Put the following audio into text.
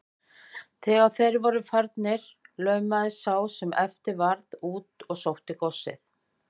Þegar þeir voru farnir laumaðist sá sem eftir varð út og sótti góssið.